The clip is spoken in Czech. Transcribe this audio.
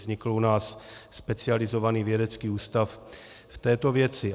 Vznikl u nás specializovaný vědecký ústav v této věci.